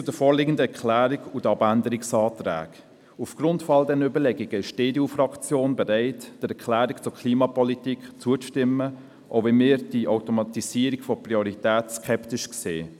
Zur vorliegenden Erklärung und den Abänderungsanträgen: Aufgrund all dieser Überlegungen ist die EDU-Fraktion bereit, der Erklärung zur Klimapolitik zuzustimmen, auch wenn wir die Automatisierung von Prioritäten skeptisch betrachten.